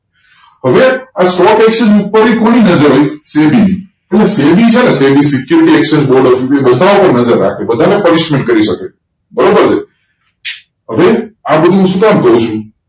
હવે આ stock exchange ઉપર પેર પુરી બાઝાર હોય SEBI ની અને SEBI છે ને SEBI security exchange board of india બધા ડુપર બાઝાર રાખે બધા ને punishment કરી સકે બરોબર છે હવે આ બધું સુ કામ જોયીસુ